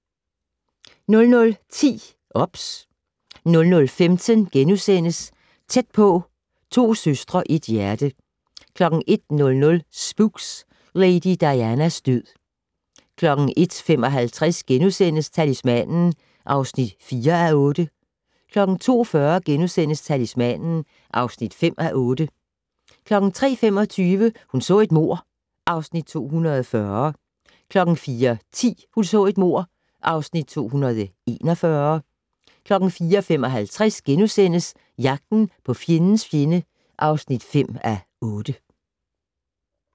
00:10: OBS 00:15: Tæt på: To søstre, et hjerte * 01:00: Spooks: Lady Dianas død 01:55: Talismanen (4:8)* 02:40: Talismanen (5:8)* 03:25: Hun så et mord (Afs. 240) 04:10: Hun så et mord (Afs. 241) 04:55: Jagten på fjendens fjende (5:8)*